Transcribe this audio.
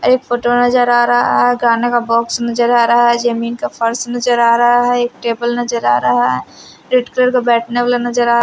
एक फोटो नजर आ रहा है गाने का बॉक्स नजर आ रहा है जमीन का फर्स नजर आ रहा है एक टेबल नजर आ रहा है रेड कलर का बैठने वाला नजर आ--